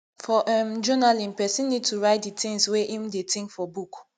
for um journaling person need to write di things wey im dey think for book